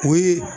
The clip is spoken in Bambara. O ye